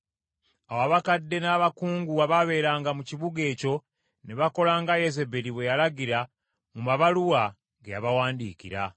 Awo abakadde n’abakungu abaabeeranga mu kibuga ekyo ne bakola nga Yezeberi bwe yalagira mu mabaluwa ge yabawandiikira.